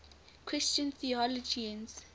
christian theologians